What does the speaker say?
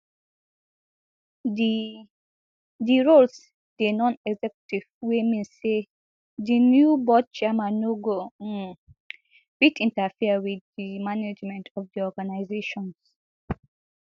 di di roles dey nonexecutive wey mean say di new board chairmen no go um fit interfere wit di management of di organisations